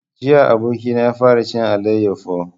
Jiya abokina ya fara cin alayyafo